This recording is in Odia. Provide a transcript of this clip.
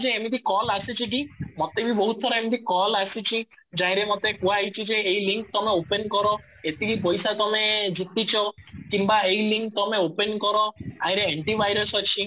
ଯେ ଏମିତି କଲ ଆସିଛି କି ମତେ ବି ବହୁତ ଥର ଏମିତି କଲ ଆସିଛି ମତେ କୁହାହେଇଛି ଯେ ଏଇ ଲିଙ୍କ ତମେ open କର ଏତିକି ପଇସା ତମେ ଜିତିଛ କିମ୍ବା ଏଇ ଲିଙ୍କ ତମେ open କର ଆଇ ର ଆଣ୍ଟି ଭାଇରସ ଅଛି